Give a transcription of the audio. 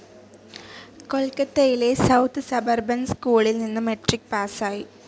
കൊൽക്കത്തയിലെ south suburban സ്കൂളിൽ നിന്ന് മെട്രിക്‌ പാസ്സായി.